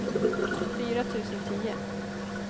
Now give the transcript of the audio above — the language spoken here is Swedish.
fyra tusen tio